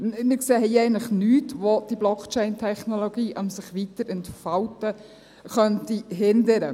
Wir sehen hier eigentlich nichts, das diese Blockchain-Technologie am Sich-Weiterentfalten hindern könnte.